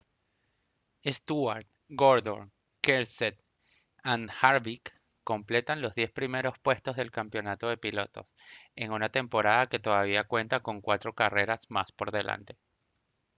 stewart gordon kenseth and harvick completan los diez primeros puestos del campeonato de pilotos en una temporada que todavía cuenta con cuatro carreras más por delante